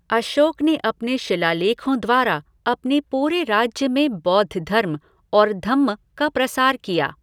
अशोक ने अपने शिलालेखों द्वारा अपने पूरे राज्य में बौद्ध धर्म और धम्म का प्रसार किया।